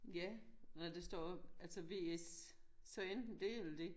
Ja og der står også altså vs så enten dét eller dét